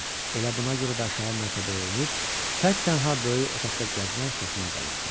Elə buna görə də aşağı mərtəbəyə enib tək-tənha böyük otaqda gəzmək xoşuma gəlirdi.